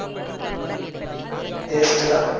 waste தான்